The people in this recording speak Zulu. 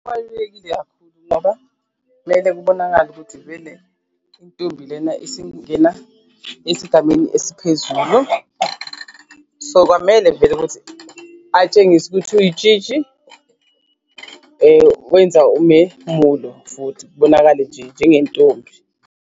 Kubalulekile kakhulu ngoba kumele kubonakale ukuthi vele intombi lena isingena esigameni esiphezulu so, kwamele vele ukuthi atshengisa ukuthi uyitshitshi wenza umemulo futhi kubonakale nje njengentombi.